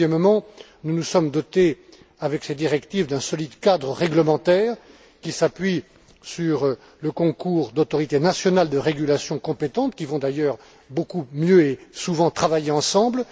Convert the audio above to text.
Deuxièmement, nous nous sommes dotés, avec ces directives, d'un solide cadre réglementaire, qui s'appuie sur le concours d'autorités nationales de régulation compétentes, qui vont d'ailleurs beaucoup mieux et souvent travailler ensemble.